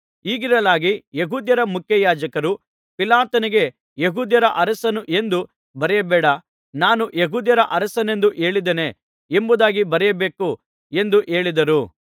ಹೀಗಿರಲಾಗಿ ಯೆಹೂದ್ಯರ ಮುಖ್ಯಯಾಜಕರು ಪಿಲಾತನಿಗೆ ಯೆಹೂದ್ಯರ ಅರಸನು ಎಂದು ಬರೆಯಬೇಡ ನಾನು ಯೆಹೂದ್ಯರ ಅರಸನೆಂದು ಹೇಳಿದ್ದಾನೆ ಎಂಬುದಾಗಿ ಬರೆಯಬೇಕು ಎಂದು ಹೇಳಿದರು